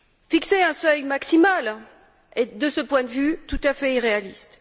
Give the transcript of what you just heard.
Fixer un seuil maximal est, de ce point de vue, tout à fait irréaliste.